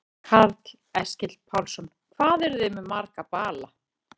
Karl Eskil Pálsson: Hvað eruð þið með marga bala?